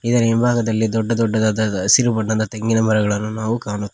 ಇದರ ಇಂಭಾಗದಲ್ಲಿ ದೊಡ್ಡ ದೊಡ್ಡದಾದ ಹಸಿರು ಬಣ್ಣದ ತೆಂಗಿನ ಮರಗಳನ್ನು ನಾವು ಕಾಣಬ--